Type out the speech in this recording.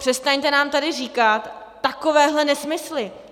Přestaňte nám tady říkat takovéhle nesmysly.